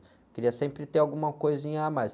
Eu queria sempre ter alguma coisinha a mais.